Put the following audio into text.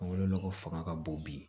Mangoro nɔgɔ fanga ka bon bi